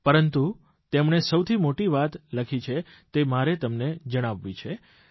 પરંતુ તેમણે સૌથી મોટી વાત લખી છે તે મારે તમને જણાવવી જોઇએ